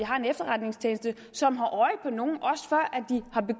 har en efterretningstjeneste som har